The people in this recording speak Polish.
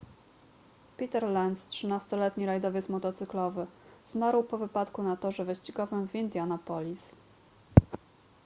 peter lenz 13-letni rajdowiec motocyklowy zmarł po wypadku na torze wyścigowym w indianapolis